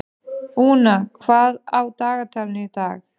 Úna, hvað er á dagatalinu í dag?